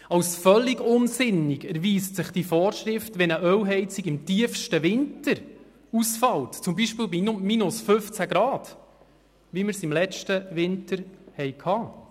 Als völlig unsinnig erweist sich diese Vorschrift, wenn eine Ölheizung im tiefsten Winter ausfällt, zum Beispiel bei minus 15 Grad, wie wir es letzten Winter hatten.